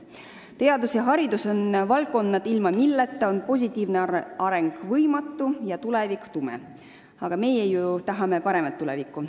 Teadus ja haridus on valdkonnad, ilma milleta on areng võimatu ja tulevik tume, aga meie ju tahame paremat tulevikku.